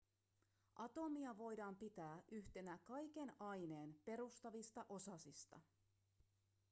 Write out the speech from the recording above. atomia voidaan pitää yhtenä kaiken aineen perustavista osasista